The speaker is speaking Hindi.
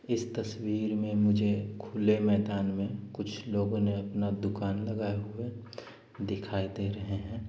इस तस्वीर में मुझे खुले मैदान में कुछ लोगों ने अपना दुकान लगाए हुए दिखाई दे रहे हैं।